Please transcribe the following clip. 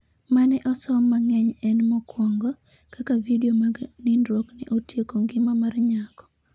mane osom mangeny en mokuongo ,Kaka vidio mag nindruok ne otieko ngima mar nyako